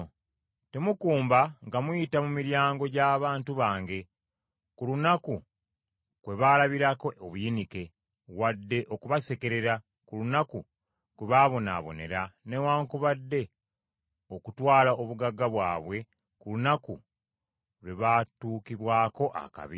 Temukumba nga muyita mu miryango gy’abantu bange ku lunaku kwe baalabira obuyinike, wadde okubasekerera ku lunaku kwe baabonaabonera, newaakubadde okutwala obugagga bwabwe ku lunaku lwe baatuukibwako akabi.